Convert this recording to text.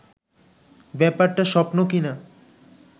ব্যাপারটা স্বপ্ন কি না